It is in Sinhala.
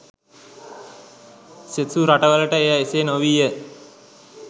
සෙසු රටවලට එය එසේ නොවීය